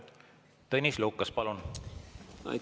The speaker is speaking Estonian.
Tõnis Lukas, palun!